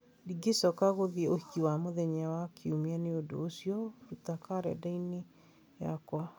ndingĩcoka gũthiĩ ũhiki wa mũthenya wa ikũmi nĩ ũndũ ũcio ruta kalendarĩ-inĩ yakwa